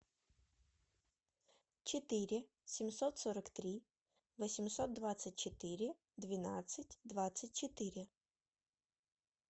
четыре семьсот сорок три восемьсот двадцать четыре двенадцать двадцать четыре